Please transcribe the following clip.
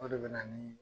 O de bɛ na ni